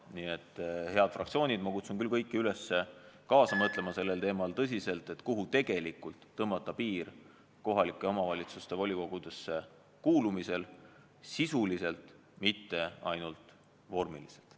Nii et, head fraktsioonid, ma kutsun kõiki üles tõsiselt kaasa mõtlema sellel teemal, kuhu tõmmata piir kohalike omavalitsuste volikogudesse kuulumisel, sisuliselt, mitte ainult vormiliselt.